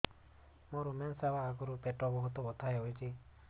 ମୋର ମେନ୍ସେସ ହବା ଆଗରୁ ପେଟ ବହୁତ ବଥା ହଉଚି